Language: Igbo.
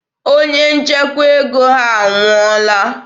Onye nchekwa ego ha anwụọla.